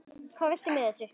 Hvað viltu með þessu?